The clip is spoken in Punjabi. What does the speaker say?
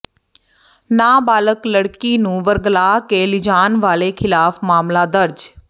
ਨਾਬਾਲਗ ਲੜਕੀ ਨੂੰ ਵਰਗ਼ਲਾ ਕੇ ਲਿਜਾਣ ਵਾਲੇ ਖਿਲਾਫ ਮਾਮਲਾ ਦਰਜ